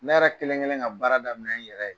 Ne yɛrɛ kelen ŋelen ka baara daminɛ n yɛrɛ ye.